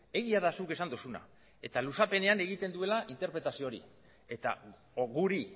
egia da zuk esan duzuna eta luzapenean egiten duela interpretazio hori eta guri